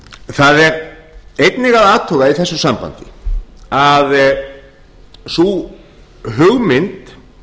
það er einnig að athuga í þessu sambandi að sú hugmynd